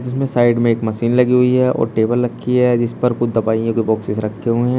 इसमें साइड में एक मशीन लगी हुई है और टेबल रखी है जिस पर कुछ दवाइयां के बोक्सेस् रखे हुए हैं।